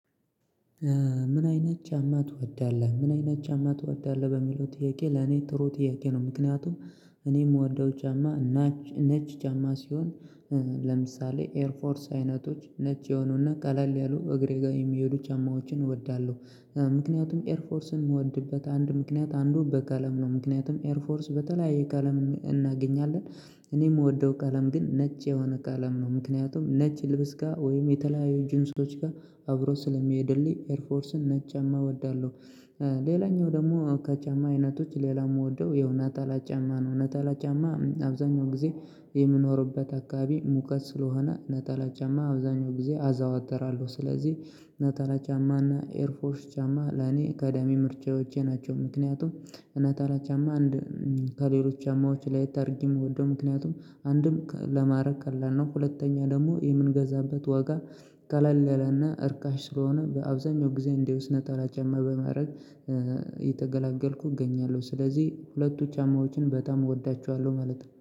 ምን አይነት ጫማ ትወዳለህ ምን አይነት ጫማ ትወዳለህ? በሚለው ጥያቄ ለኔ ጥሩ ጥያቄ ነው ምክንያቱም እኔ የምወደው ጫማ ነጭ ጫማ ሲሆን ለምሳሌ ኤርፎርስ አይነቶች ነጭ የሆኑና ቀላል ያሉ እግሬ ጋር የሚሄዱ ጫማዎችን እወዳለሁ። ምክንያቱም ኤርፎርስን የምወድበት አንድ ምክንያት አንዱ በቀለም ነው ምክንያቱም ኤር ፎርስ በተለያየ ቀለም እናገኛለን። እኔ የምወደው ቀለም ግን ነጭ የሆነ ቀለም ነው ምክንያቱም ነጭ ልብስ ጋር ወይም የተለያዩ ጂንሶች ጋር አብሮ ስለሚሄድልኝ ኤርፎርስን ነጭ ጫማ እወዳለሁ። ሌላኛው ደግሞ ከጫማ አይነቶች ሌላም የምወደው ያው ነጠላ ጫማ ነው ነጠላ ጫማ አብዛኛው ጊዜ የምኖርበት አካባቢ ሙቀት ስለሆነ ነጠላ ጫማ አብዛኛው ጊዜ አዘወትራለሁ ስለዚህ ነጠላ ጫማና ኤርፎርስ ጫማ ለኔ ቀዳሚ ምርጫዎቼ ናቸው። ምክንያቱም ነጠላ ጫማ አንድ ከሌሎች ጫማዎች ለየት አድርጌ የምወደው ምክንያቱም አንድም ለማድረግ ቀላል ነው ሁለተኛ ደግሞ የምንገዛበት ዋጋ ቀለል ያለና እርካሽ ስለሆነ በአብዛኛው ጊዜ እንዲሁ ነጠላ ጫማ በማድረግ እየተገለገልኩ እገኛለሁ። ስለዚህ ሁለቱ ጫማዎችን በጣም እወዳቸዋለሁ ማለት ነው